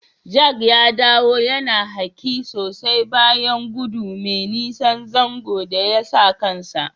Jack ya dawo yana hake sosai bayan godu mai nisan zanzo da yasa kansa.